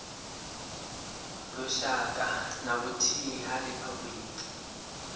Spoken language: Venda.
lushaka na vhuthihi ha riphabuliki